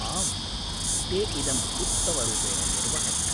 आम्, ते इदम् उत्तमरूपेण निर्वहन्ति।